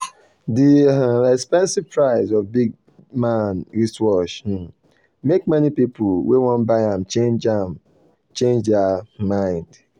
the um expensive price of the big-man wristwatch um make many people wey wan buy am change am change their um mind.